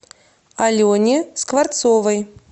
алене скворцовой